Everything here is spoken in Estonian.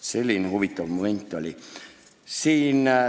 Selline huvitav juhtum oli.